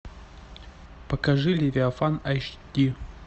покажи левиафан аш ди